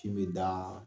Kin bi dan